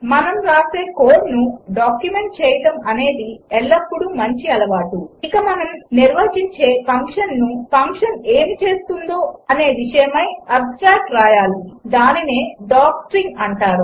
మనం వ్రాసే కోడ్ను డాక్యుమెంట్ చేయడం అనేది ఎల్లప్పుడు మంచి అలవాటు ఇక మనం నిర్వచించే ఫంక్షన్కు ఫంక్షన్ ఏమి చేస్తుందనే విషయమై ఆబ్స్ట్రాక్ట్ వ్రాయాలి దానినే డాక్స్ట్రింగ్ అంటారు